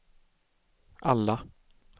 alla